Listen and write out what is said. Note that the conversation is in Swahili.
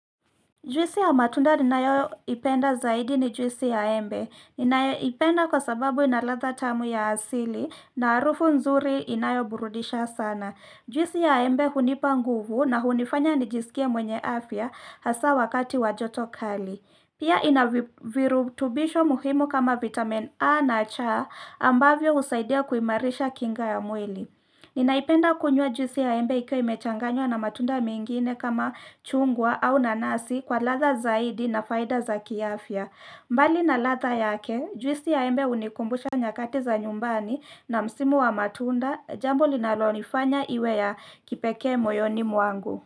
Juisi ya matunda ninayoipenda zaidi ni juisi ya embe. Ninayoipenda kwa sababu inaladha tamu ya asili na arufu nzuri inayo burudisha sana. Juisi ya embe hunipa nguvu na hunifanya nijisikie mwenye afya hasa wakati wa joto kali. Pia inavirutubisho muhimu kama vitamin A na cha ambavyo usaidia kuimarisha kinga ya mwili. Ninaipenda kunywa juisi ya embe ikiwa imechanganywa na matunda mengine kama chungwa au nanasi kwa ladha zaidi na faida za kiafya mbali na ladha yake juisi ya embe unikumbusha nyakati za nyumbani na msimu wa matunda jambo linalonifanya iwe ya kipekee moyoni mwangu.